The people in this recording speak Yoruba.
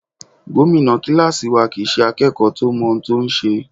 Gómìnà kíláàsì wa kìí ṣe akẹ́kọ̀ọ́ tó ń mọ n tó ń ṣe.